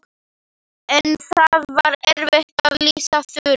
En það er erfitt að lýsa Þuru.